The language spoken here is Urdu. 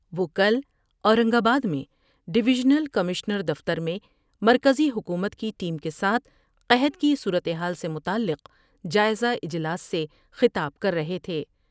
وکل اورنگ آباد میں ڈویژنل کمشنر دفتر میں مرکزی حکومت کی ٹیم کے ساتھ قحط کی صورتحال سے متعلق جائزہ اجلاس سے خطاب کر رہے تھے ۔